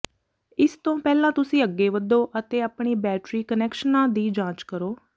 ਇਸ ਤੋਂ ਪਹਿਲਾਂ ਤੁਸੀਂ ਅੱਗੇ ਵਧੋ ਅਤੇ ਆਪਣੇ ਬੈਟਰੀ ਕੁਨੈਕਸ਼ਨਾਂ ਦੀ ਜਾਂਚ ਕਰੋ